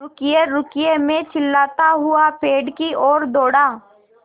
रुकिएरुकिए मैं चिल्लाता हुआ पेड़ की ओर दौड़ा